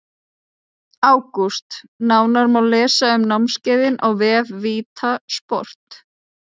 ÁGÚST Nánar má lesa um námskeiðin á vef VITA sport.